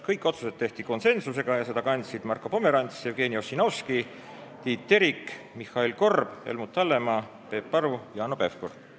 Kõik otsused tehti konsensusega, mida kandsid Marko Pomerants, Jevgeni Ossinovski, Tiit Terik, Mihhail Korb, Helmut Hallemaa, Peep Aru ja Hanno Pevkur.